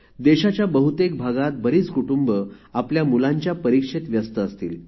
देशाच्या बहुतेक भागात बरीच कुटुंब आपल्या मुलांच्या परीक्षेत व्यस्त असतील